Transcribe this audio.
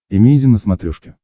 эмейзин на смотрешке